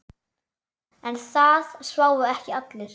En það sváfu ekki allir.